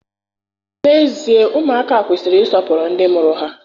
N'ezie, ụmụaka kwesịrị ịsọpụrụ ndị mụrụ ha.